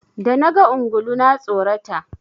Da naga ungulu na tsorata.